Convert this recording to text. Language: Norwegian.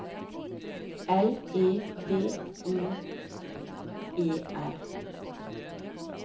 L E V N E R